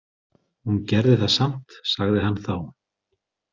Hún gerði það samt, sagði hann þá.